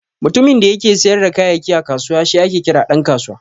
Mutumin da yake siyar da kayayyaki a kusawa shi ake kira Dan kasuwa.